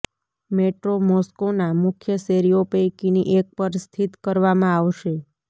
metro મોસ્કોના મુખ્ય શેરીઓ પૈકીની એક પર સ્થિત કરવામાં આવશે